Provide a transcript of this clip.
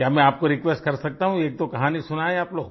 क्या मैं आपको रिक्वेस्ट कर सकता हूँ एकदो कहानी सुनाएँ आप लोग